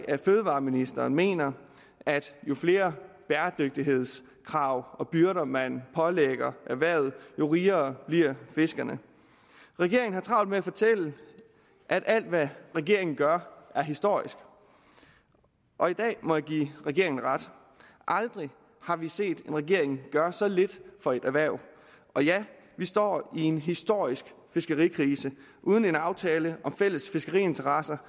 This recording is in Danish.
af at fødevareministeren mener at jo flere bæredygtighedskrav og byrder man pålægger erhvervet jo rigere bliver fiskerne regeringen har travlt med at fortælle at alt hvad regeringen gør er historisk og i dag må jeg give regeringen ret aldrig har vi set en regering gøre så lidt for et erhverv og ja vi står i en historisk fiskerikrise uden en aftale om fælles fiskeriinteresser